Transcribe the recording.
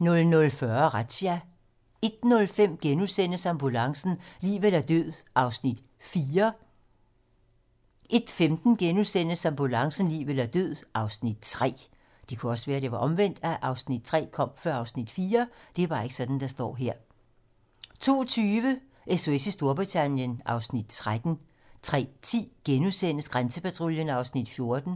00:40: Razzia 01:05: Ambulancen - liv eller død (Afs. 4)* 01:15: Ambulancen - liv eller død (Afs. 3)* 02:20: SOS i Storbritannien (Afs. 13) 03:10: Grænsepatruljen (Afs. 14)*